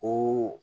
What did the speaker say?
O